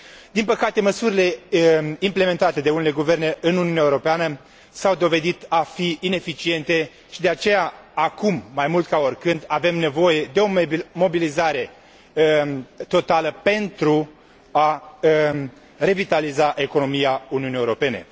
Din păcate, măsurile implementate de unele guverne în Uniunea Europeană s au dovedit a fi ineficiente și de aceea acum, mai mult ca oricând, avem nevoie de o mobilizare totală pentru a revitaliza economia Uniunii Europene.